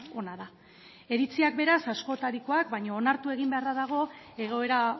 ona da iritziak beraz askotarikoak baina onartu egin beharra dago egoera